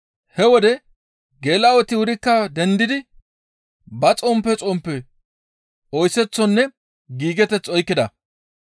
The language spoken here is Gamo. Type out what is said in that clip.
He wode geela7oti wurikka dendidi ba xomppe xomppe oyseththonne giigeteth oykkida.